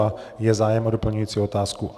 A je zájem o doplňující otázku?